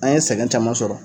An ye sɛgɛn caman sɔrɔ